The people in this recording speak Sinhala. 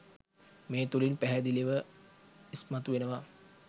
මේ තුළින් පැහැදිලිව ඉස්මතු වෙනවා.